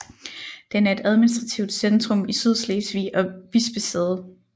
Den er et administrativt centrum i Sydslesvig og bispesæde